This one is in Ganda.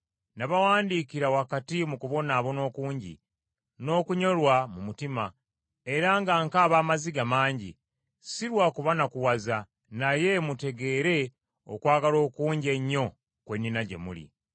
Nabawandiikira wakati mu kubonaabona okungi n’okunyolwa mu mutima, era nga nkaaba amaziga mangi, si lwa kubanakuwaza, naye mutegeere okwagala okungi ennyo kwe nnina gye muli.